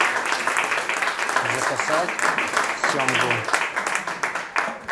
заказать семгу